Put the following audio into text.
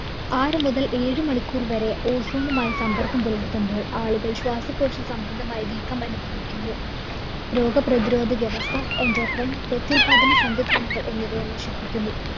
ആറു മുതല്‍ ഏഴ് മണിക്കൂര്‍ വരെ ozone ഉമായിസമ്പർക്കം പുലർത്തുമ്പോൾ ആളുകള്‍ ശ്വാസകോശസംബന്ധമായ വീക്കം അനുഭവിക്കുന്നു. രോഗ പ്രതിരോധവ്യവസ്ഥ, endocrine, പ്രത്യുല്‍പാദന സംവിധാനങ്ങള്‍ എന്നിവയെ നശിപ്പിക്കുന്നു.